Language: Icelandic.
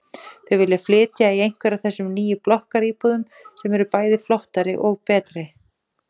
Þau vilja flytja í einhverja af þessum nýju blokkaríbúðum sem eru bæði flottari og betri.